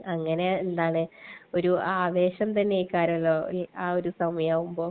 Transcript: അങ്ങനെ ഒരു ആവേശം തന്നെയാലേ ആ ഒരു സമയമാകുമ്പോൾ.